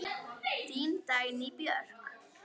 Þín Dagný Björk.